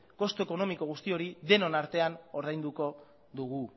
kostu ekonomiko guzti hori denon artean ordainduko dugu